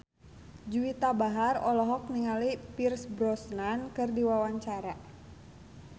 Juwita Bahar olohok ningali Pierce Brosnan keur diwawancara